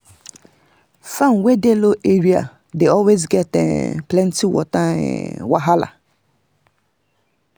farm wey dey low area dey always get um plenty water um wahala.